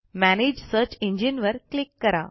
manage search engine वर click करा